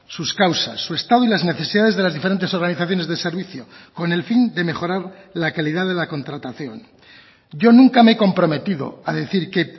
sus causas su estado y las necesidades de las diferentes organizaciones de servicio con el fin de mejorar la calidad de la contratación yo nunca me he comprometido a decir que